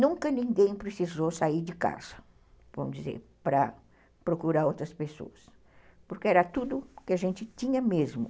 Nunca ninguém precisou sair de casa, vamos dizer, para procurar outras pessoas, porque era tudo que a gente tinha mesmo.